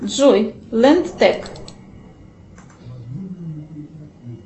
джой ленд тек